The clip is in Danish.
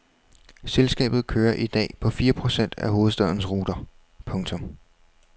Selskabet kører i dag på fire procent af hovedstadens ruter. punktum